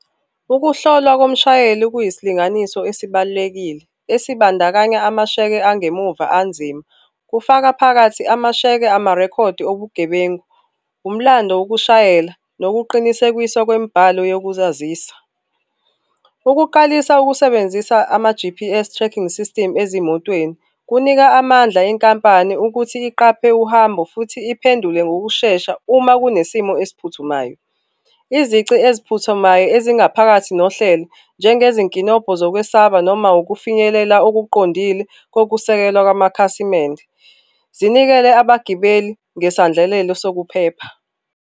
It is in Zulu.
Ukuhlolwa komshayeli kuyisilinganiso esibalulekile, esibandakanya amasheke angemuva anzima, kufaka phakathi amasheke amarekhodi obugebengu, umlando wokushayela nokuqinisekisa kwemibhalo yokuzazisa. Ukuqalisa ukusebenzisa ama-G_P_S tracking system ezimotweni kunika amandla enkampani ukuthi iqaphe uhambo futhi iphendule ngokushesha uma kunesimo esiphuthumayo. Izici eziphuthumayo ezingaphakathi nohlelo, njengezinkinobho zokwesaba noma ukufinyelela okuqondile kokusekelwa kwamakhasimende, zinikele abagibeli ngesandlelelo sokuphepha.